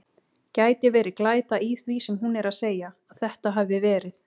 Gæti verið glæta í því sem hún er að segja. að þetta hafi verið.